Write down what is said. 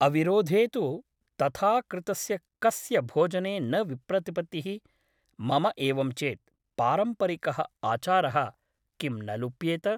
अविरोधे तु तथा कृतस्य कस्य भोजने न विप्रतिपत्तिः मम एवं चेत् पारम्परिकः आचारः किं न लुप्येत ?